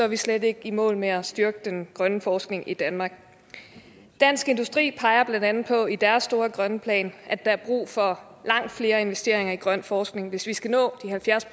vi slet ikke i mål med at styrke den grønne forskning i danmark dansk industri peger blandt andet på i deres store grønne plan at der er brug for langt flere investeringer i grøn forskning hvis vi skal nå de halvfjerds